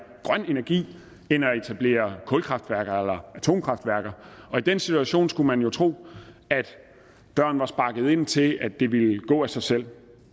grøn energi end at etablere kulkraftværker eller atomkraftværker og i den situation skulle man jo tro at døren var sparket ind til at det ville gå af sig selv